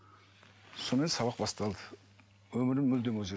сонымен сабақ басталды өмірім мүлдем